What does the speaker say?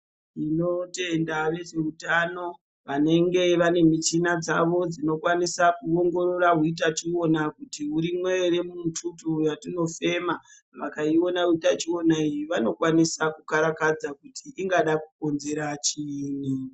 Tinotenda vezveutano, vanenge vane michina dzavo dzinokwanise kuongorora utachiwona kuti urimwo ere mumututu watinofema. Vakaiona utachiwona iyi vanokwanisa kukarakadza kuti ingada kukonzera chiini.